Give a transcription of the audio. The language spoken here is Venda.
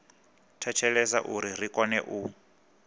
thetshelesa uri ri kone u